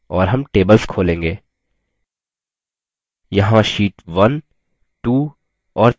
यहाँ sheet12 और 3 है